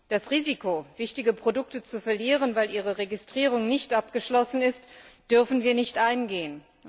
Das Risiko, wichtige Produkte zu verlieren, weil ihre Registrierung nicht abgeschlossen ist, dürfen wir nicht eingehen.